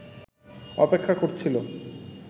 অপেক্ষা করছিল